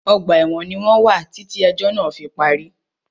Ọgbà ẹ̀wọ̀n ní wọ́n wà títí ẹ̀jọ́ náà fí parí.